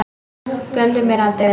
Gleymdu mér aldrei vina mín.